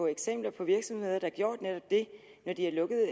eksempler på virksomheder der har gjort netop det når de har lukket